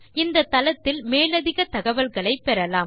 இந்தத் தளத்தில் மேலதிகத் தகவல்களை பெறலாம்